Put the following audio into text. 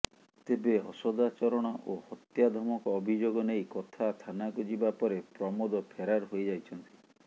ତେବେ ଅସଦାଚରଣ ଓ ହତ୍ୟା ଧମକ ଅଭିଯୋଗ ନେଇ କଥା ଥାନାକୁ ଯିବା ପରେ ପ୍ରମୋଦ ଫେରାର ହୋଇଯାଇଛନ୍ତି